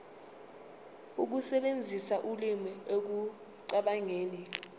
ukusebenzisa ulimi ekucabangeni